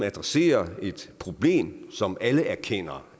adresserer et problem som alle erkender